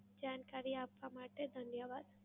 જાણકારી આપવા માટે ધન્યવાદ.